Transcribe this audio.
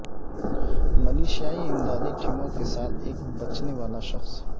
ملیشیائی امدادی ٹیموں کے ساتھ ایک بچنے والا شخص